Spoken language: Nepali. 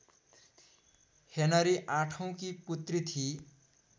हेनरी आठौँकी पुत्री थिई